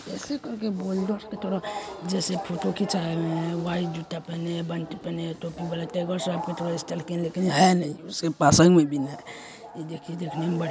ऐसे करके बोल्डर्स की तरह जैसे फोटो खिचायें हुए है। व्हाईट जूता पहने है। बंडी पहने है। टोपी वाला टाइगर श्रॉफ की तरह स्टाइल लेकिन है नहीं उसके पासन में भी नहीं है। यह देखिये देखने में बढ़िया--